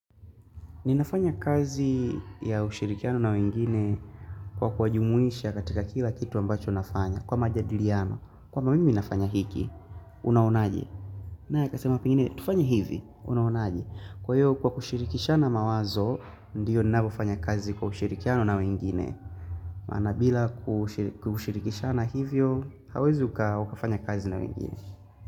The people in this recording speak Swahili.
Ninafanya kazi ya ushirikiano na wengine kwa kuwajumuisha katika kila kitu ambacho nafanya. Kwa majadiliano, kwamba mimi nafanya hiki, unaonaje? Naye akasema pengine, tufanye hivi, unaunaje? Kwa hiyo, kwa kushirikishana mawazo, ndiyo ninavyofanya kazi kwa ushirikiano na wengine. Maana bila kushirikishana hivyo, hauwezi ukafanya kazi na wengine.